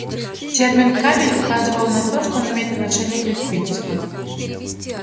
термин кабель указывал на то что он имеет отношение к электричеству